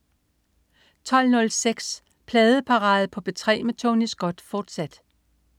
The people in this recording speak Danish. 12.06 Pladeparade på P3 med Tony Scott, fortsat